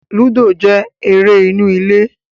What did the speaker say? Lúdò jẹ́ eré inú ilé